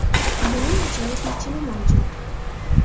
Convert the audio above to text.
Buning ajoyib yechimi mavjud.